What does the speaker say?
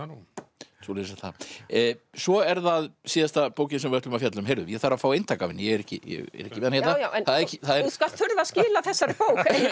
nú svoleiðis er það svo er það síðasta bókin sem við ætlum að fjalla um heyrðu ég þarf að fá eintak af henni ég er ekki með hana hérna þú skalt þurfa að skila þessari bók